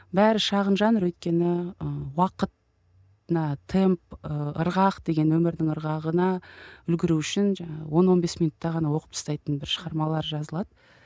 бәрі шағын жанр өйткені ы уақыт мына темп ы ырғақ деген өмірдің ырғағына үлгеру үшін жаңағы он он бес минутта ғана оқып тастайтын бір шығармалар жазылады